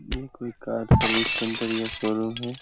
ये कोई car service centre या शोरूम है।